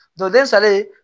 salen